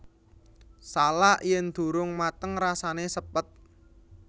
Salak yen durung mateng rasane sepet